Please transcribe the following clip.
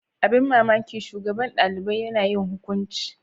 Abin mamaki shugaban shugaban dalibai Yana yin hukunci.